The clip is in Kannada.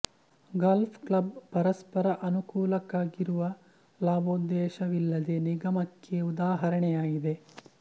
ಗಾಲ್ಫ್ ಕ್ಲಬ್ ಪರಸ್ಪರ ಅನುಕೂಲಕ್ಕಾಗಿರುವ ಲಾಭೋದ್ದೇಶವಿಲ್ಲದ ನಿಗಮಕ್ಕೆ ಉದಾಹರಣೆ ಯಾಗಿದೆ